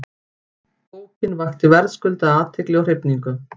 Bókin vakti verðskuldaða athygli og hrifningu.